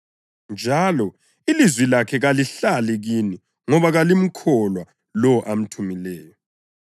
njalo ilizwi lakhe kalihlali kini ngoba kalimkholwa lowo amthumileyo.